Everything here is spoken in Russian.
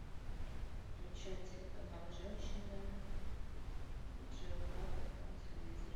включай телеканал женщина джеографик на телевизоре